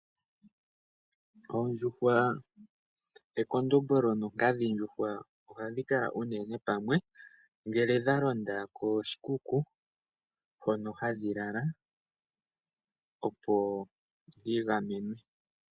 Oondjuhwa ekondombolo nonkadhindjuhwa ohadhi kala unene pamwe ngele dha londa koshikuku hono hadhi lala opo yi gamenwe.